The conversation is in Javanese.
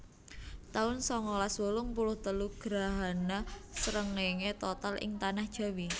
taun sangalas wolung puluh telu Grahana srengéngé total ing Tanah Jawi